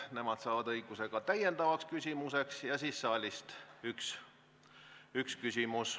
Nendel on õigus ka täiendavaks küsimuseks ja saalist võib esitada veel ühe küsimuse.